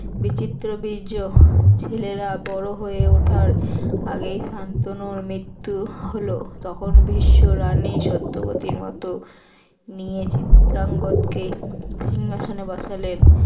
বিচিত্র বীর্য ছেলেরা বড় হয়ে উঠার আগেই শান্তনুর মৃত্যু হল তখন ভীষ্ম রানী সত্যবতীর মত নিয়ে চিত্রাঙ্গজকেই সিংহাসনে বসালেন